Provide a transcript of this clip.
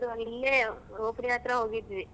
ಇಲ್ಲೇ rotary ಹತ್ರ ಹೋಗಿದ್ವಿ.